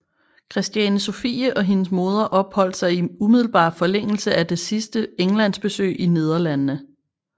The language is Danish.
Christiane Sophie og hendes moder opholdt sig i umiddelbar forlængelse af det sidste Englandsbesøg i Nederlandene